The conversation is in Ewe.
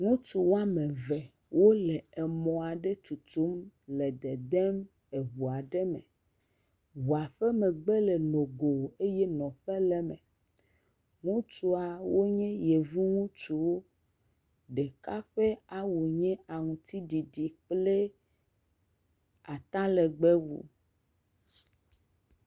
Ŋutsuwo ame eve wole mɔ aɖe tutum le dedem ʋu aɖe me ʋua ƒe megbe le nogo eye nɔƒe le eme ŋutsua wonye yevu ŋutsuwo ɖeka ƒe awu nye aŋtiɖiɖi kple atalegbe wu